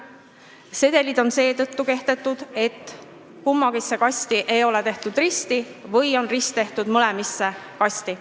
Sedelid on kehtetud seetõttu, et risti ei ole tehtud kumbagi kasti või on rist tehtud mõlemasse kasti.